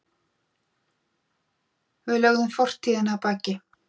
Við lögðum fortíðina að baki.